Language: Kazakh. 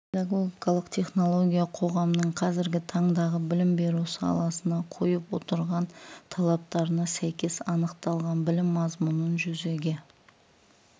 педагогикалық технология қоғамның қазіргі таңдағы білім беру саласына қойып отырған талаптарына сәйкес анықталған білім мазмұнын жүзеге